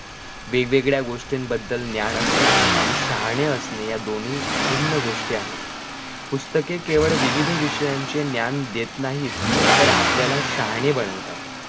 वेगवेगळ्या गोष्टींबद्दल ज्ञान असणे आणि शहाणे असणे या दोनी भिन्न गोष्टी आहेत पुस्तके केवळ विविध विषयांचे ज्ञान देत नाहीत तर ते आपल्याला शहाणे बनवतात